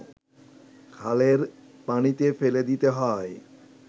খালের পানিতে ফেলে দিতে হয়